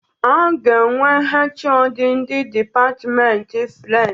A ga-enwe HoD ndị dipatmenti French.